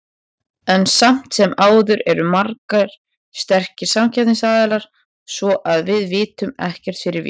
En samt sem áður eru margir sterkir samkeppnisaðilar, svo að við vitum ekkert fyrir víst.